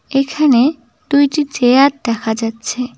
এখানে দুইটি চেয়ার দেখা যাচ্ছে।